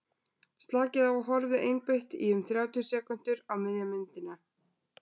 slakið á og horfið einbeitt í um þrjátíu sekúndur á miðja myndina